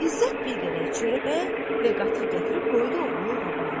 İzzət bir qədər çörək və qatıq gətirib qoydu oğlunun qabağına.